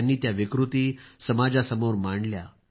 त्यांनी त्या विकृती समाजासमोर मांडल्या